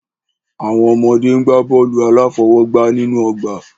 Àwọn ọmọdé ń gbá bọ́ọ̀lù aláfọwọ́gbá nínú ọgbà.